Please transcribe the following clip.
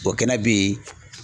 kɛnɛ bɛ yen